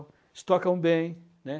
Eles tocam bem, né.